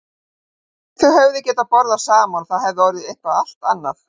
Þau hefðu getað byrjað saman og það hefði orðið eitthvað allt annað.